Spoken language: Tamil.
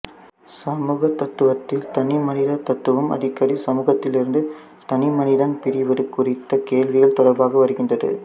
சமூகத் தத்துவத்தில் தனிமனிதத்துவம் அடிக்கடி சமூகத்திலிருந்து தனிமனிதன் பிரிவது குறித்த கேள்விகள் தொடர்பாக வருகின்றது